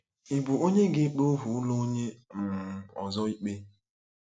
Ị bụ onye ga-ekpe ohu ụlọ onye um ọzọ ikpe?